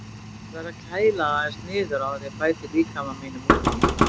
Ég verð að kæla það aðeins niður áður en ég bæti líkama mínum út í.